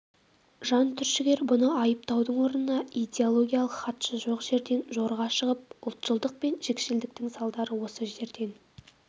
жан түршігер бұны айыптаудың орнына идеологиялық хатшы жоқ жерден жорға шығып ұлтшылдық пен жікшілдіктің салдары осы жерден